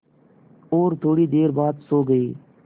और थोड़ी देर बाद सो गए